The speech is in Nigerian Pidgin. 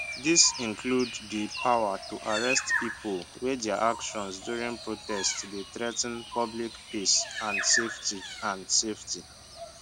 dis include di power to arrest pipo wey dia actions during protest dey threa ten public peace and safety and safety